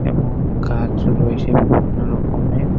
এবং গাছ রয়েছে বিভিন্ন রকমের।